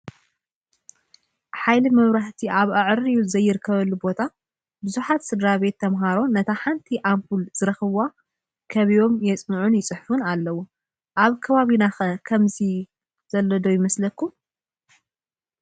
ሓይሊ መብራህቲ ኣብ ኣዕርዩ ዘይርከበሉ ቦታ ብዙሓት ስድራ ቤት ተምሃሮ ነታ ሓንቲ ኣምቡል ዝኽረኽቡ ከቢቦም የፅንዕ/ይፅሕፉ ኣለው፡፡ ኣብ ከባቢና ኸ ከምዚ ዘሎ ዶ ይመስለኩም?